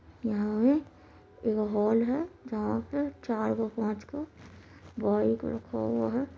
यहाँ पे एगो हॉल है जहाँ पे चरगो-पांचगो बाइक रखा हुआ है।